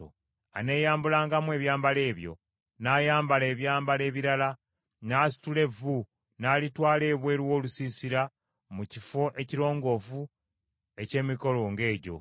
Aneeyambulangamu ebyambalo ebyo, n’ayambala ebyambalo ebirala, n’asitula evvu n’alitwala ebweru w’olusiisira mu kifo ekirongoofu eky’emikolo ng’egyo.